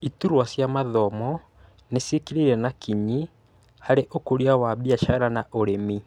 Iturwa cia mathomo nĩ ciĩkĩrĩire na kinyi harĩ ũkũria wa biacara na ũrĩmi